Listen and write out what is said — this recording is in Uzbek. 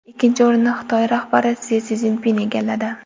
Ikkinchi o‘rinni Xitoy rahbari Si Szinpin egalladi.